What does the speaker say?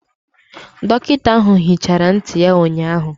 Dọkịta ahụ hichara ntị ya ụnyahụ.